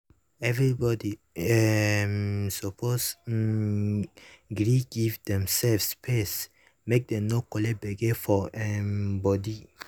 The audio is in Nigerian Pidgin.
everybody um suppose um gree give demsef space make dem no collect gbege for um body.